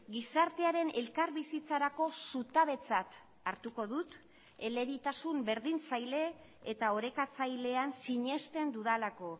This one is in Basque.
gizartearen elkarbizitzarako zutabetzat hartuko dut elebitasun berdintzaile eta orekatzailean sinesten dudalako